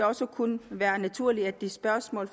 også kun være naturligt at de spørgsmål